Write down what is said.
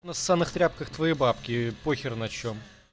на ссцаных тряпка твои бабки покер на чем